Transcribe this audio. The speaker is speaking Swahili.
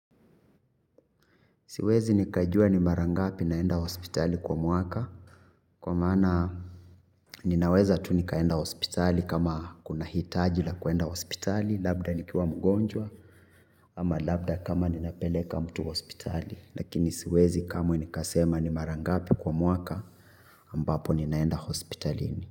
Siwezi nikajua ni mara ngapi naenda hospitali kwa mwaka. Kwa maana ninaweza tu nikaenda hospitali kama kuna hitaji la kuenda hospitali. Labda nikiwa mgonjwa ama labda kama ninapeleka mtu hospitali. Lakini siwezi kamwe nikasema ni mara ngapi kwa mwaka ambapo ninaenda hospitalini.